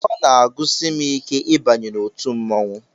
Ọ na-agụsi m ike ịbanye n'otu mmọnwụ